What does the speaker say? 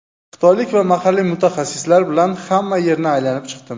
Xitoylik va mahalliy mutaxassislar bilan hamma yerni aylanib chiqdim.